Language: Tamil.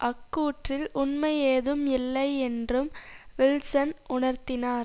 அக்கூற்றில் உண்மை ஏதும் இல்லை என்றும் வில்சன் உணர்த்தினார்